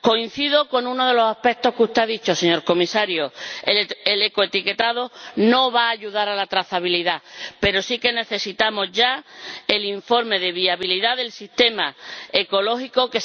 Coincido con uno de los aspectos que usted ha dicho, señor Comisario el ecoetiquetado no va a ayudar a la trazabilidad, pero sí que necesitamos ya el informe de viabilidad del sistema ecológico, respecto del cual